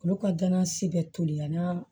Olu ka gana si bɛ toli yan nɔ